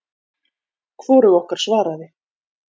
Hvorug okkar svaraði.